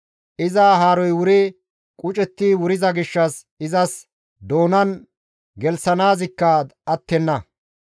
Iza haaroy wuri qucetti wuriza gishshas izas doonan gelththanaazikka attenna.